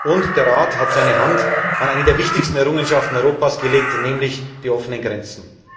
Und der Rat hat seine Hand an eine der wichtigsten Errungenschaften Europas gelegt, nämlich die offenen Grenzen.